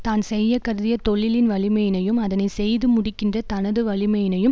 தான் செய்ய கருதிய தொழிலின் வலிமையினையும் அதனை செய்து முடிக்கின்ற தனது வலிமையினையும்